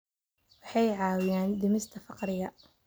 Waxay caawiyaan dhimista faqriga.